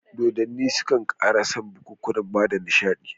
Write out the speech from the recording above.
Dodonni sukan ƙara san bikukuwa bada nishiɗi.